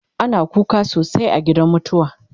ana kuka sosai a gidan mutuwa